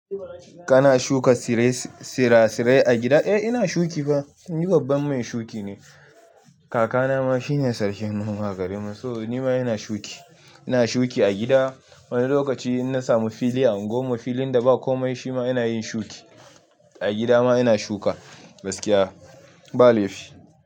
Kana shuka tsire-sirasire a gida? Eh ina shuki fa. Ni babban mai shuki ne. Kakana ma shine sarkin noma a garinmu, so ni ma ina shuki. Ina shuki a gida. Wani lokaci in na samu fili a unguwar mu, filin da ba kome shi ma ina yin shuki. A gida ma ina shuka gaskiya, ba laifi.